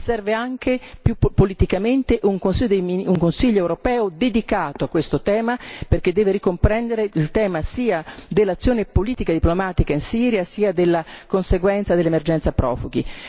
ma serve anche, più politicamente, un Consiglio europeo dedicato a questo tema, perché deve ricomprendere il tema sia dell'azione politica e diplomatica in Siria sia della conseguenza dell'emergenza profughi.